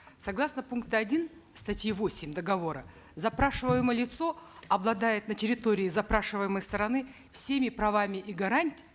согласно пункта один статьи восемь договора запрашиваемое лицо обладает на территории запрашиваемой стороны всеми правами и